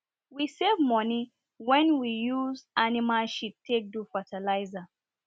we save money wen we use animal shit take do fatalizer